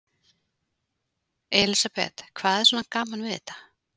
Elísabet: Hvað er svona gaman við þetta?